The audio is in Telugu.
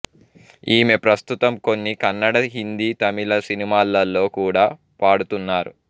ఈమె ప్రస్తుతం కొన్ని కన్నడ హిందీ తమిళ సినిమాలలో కూడా పాడుతున్నారు